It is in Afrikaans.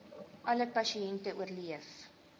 alle pasiënte oorleef